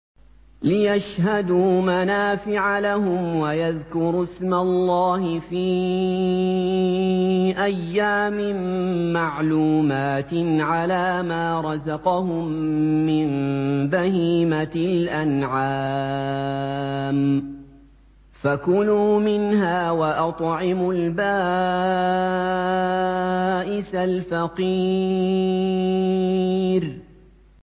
لِّيَشْهَدُوا مَنَافِعَ لَهُمْ وَيَذْكُرُوا اسْمَ اللَّهِ فِي أَيَّامٍ مَّعْلُومَاتٍ عَلَىٰ مَا رَزَقَهُم مِّن بَهِيمَةِ الْأَنْعَامِ ۖ فَكُلُوا مِنْهَا وَأَطْعِمُوا الْبَائِسَ الْفَقِيرَ